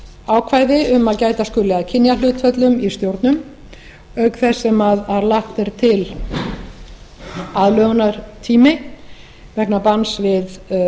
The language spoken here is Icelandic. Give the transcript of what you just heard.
ákvæði um að gæta skuli að kynjahlutföllum í stjórnum auk þess sem lagður er til aðlögunartími vegna banns við